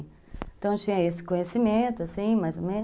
Então tinha esse conhecimento, assim, mais ou menos.